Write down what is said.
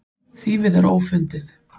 Þýfið er ófundið.